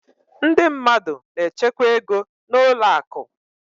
Ndị mmadụ na-echekwa ego n'ụlọ akụ.